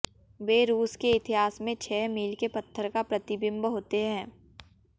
वे रूस के इतिहास में छह मील के पत्थर का प्रतिबिंब होते हैं